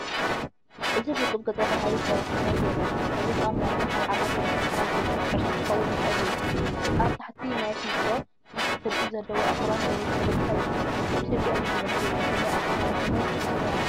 እዚ ውቁብ ገጸ-ባህርይ ከበሳታት የርኢ እዚ ኸኣ ምናልባት ኣብ ዓቐበት ኣኽራን ዝርከብ ሕርሻ ኪኸውን ይኽእል እዩ። ኣብ ታሕቲ ናብ ስንጭሮ ሰፊሕ ትርኢት ዘለዎ ኣኽራን ወይ ከበሳይርከብ ። ኢትዮጵያ እዩ ዝመስል ብፍላይ ኣብ ከበሳታት ትግራይ ኣምሓራ እዩ።